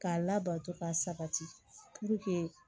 K'a labato ka sabati